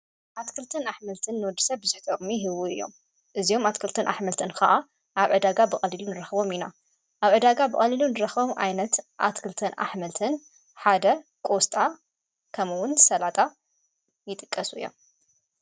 ኣትክልትን ኣኅመልትን ንወድ ሰብ ዝጠቅሙ እዮም እዚሆም ኣትክልትን ኣኅመልትን ከዓ ኣብ ዕዳጋ ብቐሊሉን ረኽቦም ኢና ኣብ ዕዳጋ ብቐሊሉን ረኸቦም ኣይነት ኣትክልተን ኣኅመልትን ሓደ ቆስጣ ከምውን ሰላጣ ይጥቀሱ እዮም።